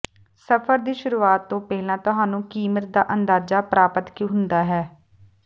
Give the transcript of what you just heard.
ਸਫਰ ਦੀ ਸ਼ੁਰੂਆਤ ਤੋਂ ਪਹਿਲਾਂ ਤੁਹਾਨੂੰ ਕੀਮਤ ਦਾ ਅੰਦਾਜ਼ਾ ਪ੍ਰਾਪਤ ਹੁੰਦਾ ਹੈ